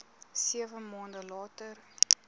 sewe maande later